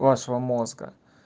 вашего мозга